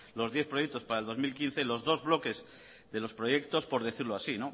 los diez proyectos para dos mil quince los dos bloques de los proyectos por decirlo así